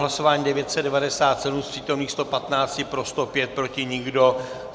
Hlasování 997, z přítomných 115 pro 105, proti nikdo.